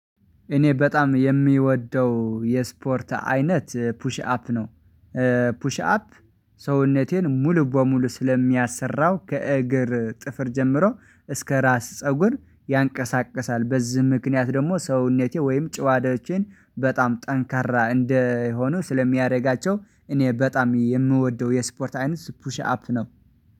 እኔ በጣም የምወደው የስፖርት አይነት ፑሽ አፕ ነው። ፑሽ አፕ ሰውነቴን ሙሉ በሙሉ ስለሚያሰራው ከእግር ጥፍር ጀምሮ እስከ ራስ ፀጉር ያንቀሳቅሳል በዚህ ምክንያት ደግሞ ሰውነቴ ወይም ጨዋታዎቼን በጣም ጠንካራ እንደሆኑ ስለሚያደርጋቸው እኔ በጣም የምወደው የስፖርት አይነት ፑሽ አፕ ነው